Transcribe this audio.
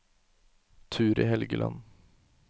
Turid Helgeland